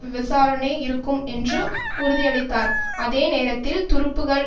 விசாரணை இருக்கும் என்று உறுதியளித்தார் அதே நேரத்தில் துருப்புக்கள்